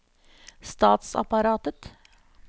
statsapparatet